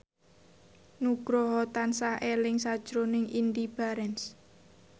Nugroho tansah eling sakjroning Indy Barens